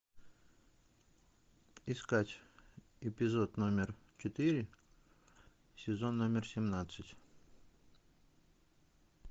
искать эпизод номер четыре сезон номер семнадцать